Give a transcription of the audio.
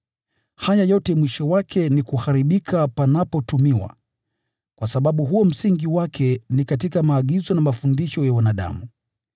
Haya yote mwisho wake ni kuharibika yanapotumiwa, kwa sababu msingi wake ni katika maagizo na mafundisho ya wanadamu.